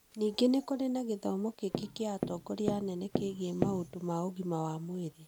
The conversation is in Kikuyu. Ningĩ nĩ kũrĩ na gĩthomo kĩngĩ kĩa atongoria anene kĩgiĩ maũndũ ma ũgima wa mwĩrĩ.